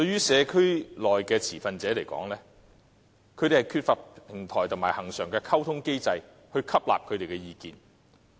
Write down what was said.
社區內的持份者缺乏平台及恆常的溝通機制來表達他們的意見。